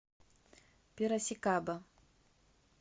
пирасикаба